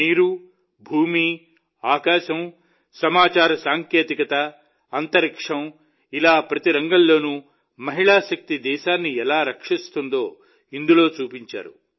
నీరు భూమి ఆకాశం సమాచార సాంకేతికత అంతరిక్షం ఇలా ప్రతి రంగంలోనూ మహిళా శక్తి దేశాన్ని ఎలా రక్షిస్తుందో ఇందులో చూపించారు